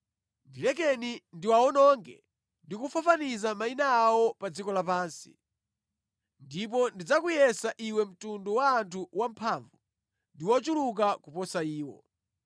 Ndilekeni ndiwawononge ndi kufafaniza mayina awo pa dziko lapansi. Ndipo ndidzakuyesa iwe mtundu wa anthu wamphamvu ndi wochuluka kuposa iwo.”